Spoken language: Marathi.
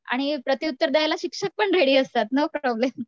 आणि प्रतिउत्तर द्यायला शिक्षक पण रेडी असतात नो प्रॉब्लेम